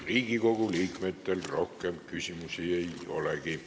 Riigikogu liikmetel rohkem küsimusi ei olegi.